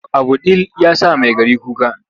Abu ɗil ya sa Maigari kuka.